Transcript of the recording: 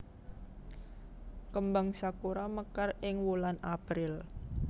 Kembang sakura mekar ing wulan April